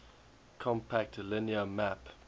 compact linear map